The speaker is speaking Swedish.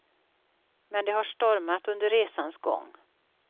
Men det har stormat under resans gång.